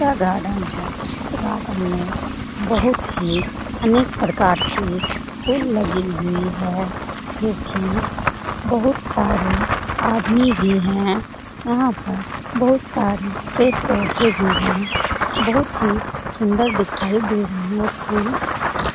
यह गार्डन है इस गार्डन में बहुत ही अनेक प्रकार के फूल लगी हुई है जो की बहुत सारी आदमी भी है यहाँ पर बहुत सारे पेड़ पौधे भी है बहुत ही सुंदर दिखाई दे रहे हैं फूल।